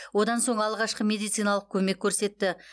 одан соң алғашқы медициналық көмек көрсетті